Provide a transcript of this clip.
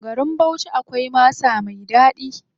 Garin Bauchi akwai masa mai ɗaɗi.